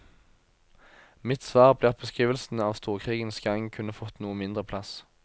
Mitt svar blir at beskrivelsene av storkrigens gang kunne fått noe mindre plass.